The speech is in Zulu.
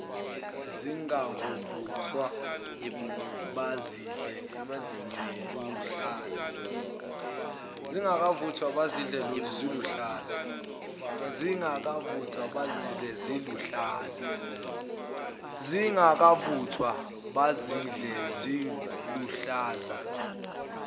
zingakavuthwa bazidle ziluhlaza